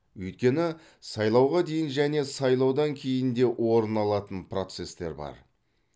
өйткені сайлауға дейін және сайлаудан кейін де орын алатын процестер бар